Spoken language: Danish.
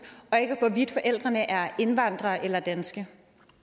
og ikke hvorvidt forældrene er indvandrere eller danske